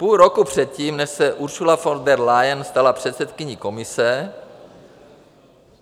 Půl roku předtím, než se Ursula von der Leyen stala předsedkyní Komise...